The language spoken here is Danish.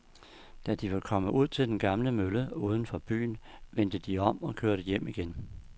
Da de var kommet ud til den gamle mølle uden for byen, vendte de om og kørte hjem igen.